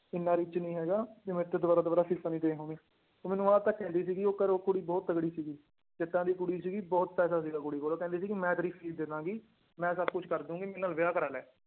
ਇੰਨਾ rich ਨੀ ਹੈਗਾ ਵੀ ਮੇਰੇ ਤੋਂ ਦੁਬਾਰਾ ਦੁਬਾਰਾ ਫੀਸਾਂ ਨੀ ਦੇ ਹੋਣੀਆਂ ਉਹ ਮੈਨੂੰ ਆਹ ਤੱਕ ਕਹਿੰਦੀ ਸੀਗੀ ਉਹ ਘਰੋਂ ਕੁੜੀ ਬਹੁਤ ਤਕੜੀ ਸੀਗੀ ਜੱਟਾਂ ਦੀ ਕੁੜੀ ਸੀਗੀ ਬਹੁਤ ਪੈਸਾ ਸੀਗਾ ਕੁੜੀ ਕੋਲ ਉਹ ਕਹਿੰਦੀ ਸੀ ਕਿ ਮੈਂ ਤੇਰੀ ਫੀਸ ਦੇ ਦੇਵਾਂਗੀ, ਮੈਂ ਸਭ ਕੁਛ ਕਰ ਦੇਊਂਗੀ ਮੇਰੇ ਨਾਲ ਵਿਆਹ ਕਰਵਾ ਲੈ।